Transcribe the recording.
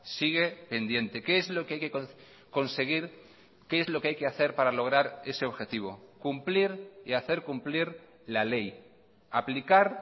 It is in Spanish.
sigue pendiente qué es lo que hay que conseguir qué es lo que hay que hacer para lograr ese objetivo cumplir y hacer cumplir la ley aplicar